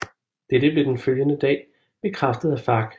Dette blev den følgende dag bekræftet af FARC